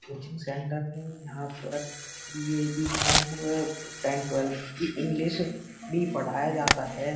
Coaching centre है। यहां पर बीए बीकॉम और टेंथ टवेल्थ की इंग्लिश भी पढ़ाया जाता है।